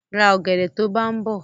Ra ọ̀gẹ̀dẹ̀ to bá ń bọ̀!